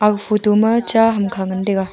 aga photo ma cha hamkha ngan tai ga.